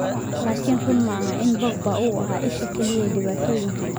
"Laakiin run maaha in Pogba uu ahaa isha kaliya ee dhibaatooyinka."